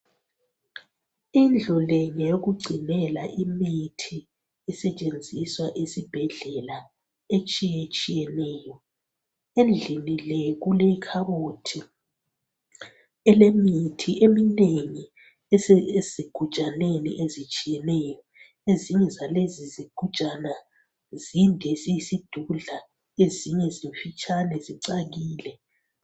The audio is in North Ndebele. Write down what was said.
Indlu le ngeyokugcinela imithi esetshenziswa ezibhedlela etshiyetshiyeneyo. Endlini le kulekhabothi elemithi eminengi esezigujaneni ezitshiyeneyo ezinye zalezi zigujana zinde zinkulu ezinye zincane zimfitshane.